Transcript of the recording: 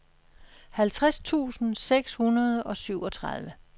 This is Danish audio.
halvtreds tusind seks hundrede og syvogtredive